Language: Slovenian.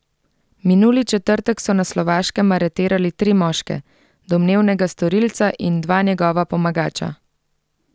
Minuli četrtek so na Slovaškem aretirali tri moške, domnevnega storilca in dva njegova pomagača.